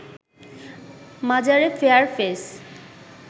মাজারে fair face